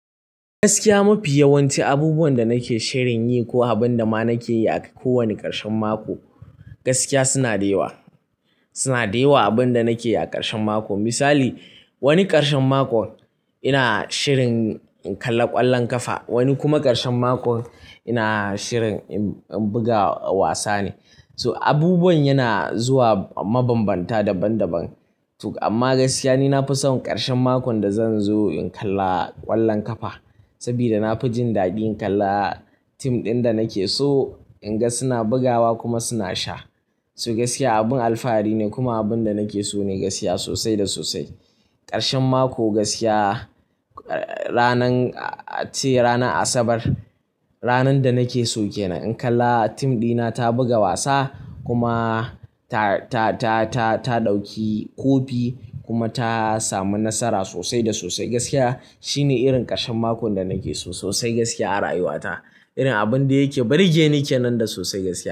Gaskiya mafi yawanci abubuwan da nake shirin yi ko abin da ma nake yi a kowane ƙarshen mako, gaskiya suna dewa, suna dewa. Abin da nake yi a ƙarshen mako misali wani ƙarshen makon ina shirin in kalla ƙwallon ƙafa. Wani kuma ƙarshen mako ina shirin in buga wasa ne. So abubuwan yana zuwa mabambanta daban daban. Amma gaskiya ni na fi son ƙarshen makon da zan zo in kalla ƙwallon ƙafa. Saboda na fi jin daɗin in kalla team ɗin da nake so in ga suna bugawa kuma suna sha. So gaskiya abin alfahari ne kuma abin da nake so ne gaskiya sosai da sosai. Ƙarshen mako gaskiya ranar, ace ranar asabar, ranar da nake so kenan in kalla team ɗina ta buga wasa kuma ta ta ɗauki kofi kuma ta samu nasara sosai da sosai gaskiya. Shine irin ƙarshen makon da nake so sosai gaskiya, a rayuwa ta irin abin da yake burge ni kenan da sosai gaskiya.